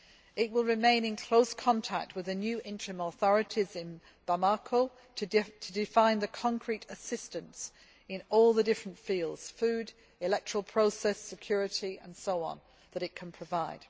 It will remain in close contact with the new interim authorities in Bamako to define the concrete assistance in all the different fields food, electoral process security and so on that it can provide.